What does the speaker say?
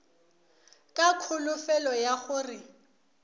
ka kholofelo ya go re